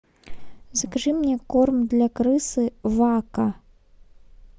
закажи мне корм для крысы вакко